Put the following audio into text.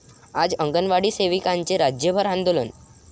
आज अंगणवाडी सेविकांचे राज्यभर आंदोलन